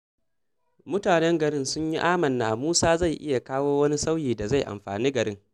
Mutanen garin sun yi amanna Musa zai iya kawo wani sauyi da zai amfani garin.